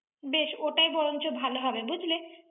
বেশ, ওটাই বরঞ্চ ভালো হবে বুঝলে?